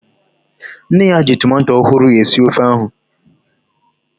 Nne ya ji tomato ọhụrụ esi ofe ahu